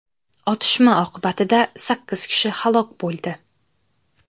Otishma oqibatida sakkiz kishi halok bo‘ldi.